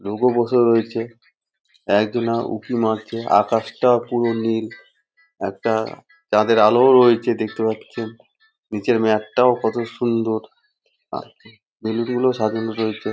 লোকও বসে রয়েছে। একজনা উঁকি মারছে আকাশটাও পুরো নীল একটা চাঁদের আলো রয়েছে দেখতে পাচ্ছি। নিচের ম্যাট -টাও কত সুন্দর আর বেলুন গুলো সাজানো রয়েছে ।